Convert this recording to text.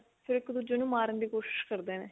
ਫਿਰ ਇੱਕ ਦੁੱਜੇ ਨੂੰ ਮਾਰਨ ਦੀ ਕੋਸ਼ਿਸ਼ ਕਰਦੇ ਨੇ